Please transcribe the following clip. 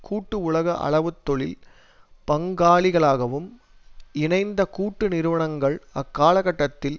கூட்டு உலக அளவுத் தொழில் பங்காளிகளாகவும் இணைந்த கூட்டு நிறுவனங்கள் அக்கால கட்டத்தில்